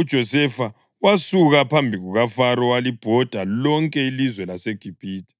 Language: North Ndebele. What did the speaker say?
UJosefa wasuka phambi kukaFaro walibhoda lonke ilizwe laseGibhithe.